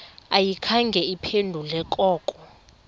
ayikhange iphendule koko